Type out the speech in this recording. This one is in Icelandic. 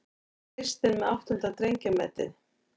Kristinn með áttunda drengjametið